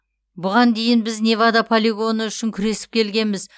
бұған дейін біз невада полигоны үшін күресіп келгенбіз